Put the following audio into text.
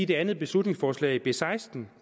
det andet beslutningsforslag b seksten